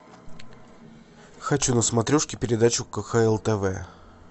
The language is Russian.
хочу на смотрешке передачу кхл тв